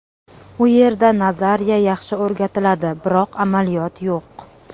U yerda nazariya yaxshi o‘rgatiladi, biroq amaliyot yo‘q.